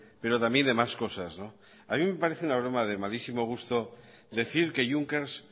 pero también de más cosas a mí me parece una broma de malísimo gusto decir que junckers